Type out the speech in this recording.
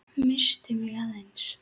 Missti mig aðeins.